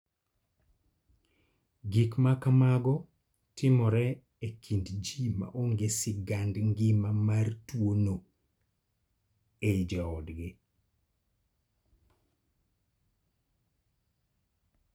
Gik ma kamago timore e kind ji ma onge sigand ngima mar tuo no e jo odgi.